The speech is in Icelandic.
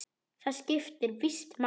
Það skipti víst máli.